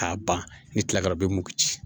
K'a ban ni kila bɛ mugu ci